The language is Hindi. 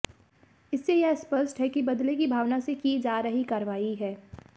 इससे यह स्पष्ट है कि बदले की भावना से की जा रही कार्रवाई है